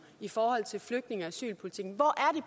i forhold til flygtninge og asylpolitikken hvor er